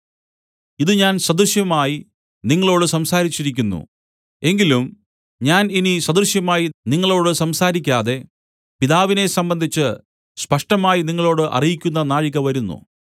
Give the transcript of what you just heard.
ഇതു ഞാൻ സദൃശമായി നിങ്ങളോടു സംസാരിച്ചിരിക്കുന്നു എങ്കിലും ഞാൻ ഇനി സദൃശമായി നിങ്ങളോടു സംസാരിക്കാതെ പിതാവിനെ സംബന്ധിച്ച് സ്പഷ്ടമായി നിങ്ങളോടു അറിയിക്കുന്ന നാഴിക വരുന്നു